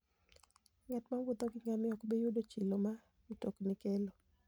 Ng'at mowuotho gi ngamia ok bi yudo chilo ma mtokni kelo.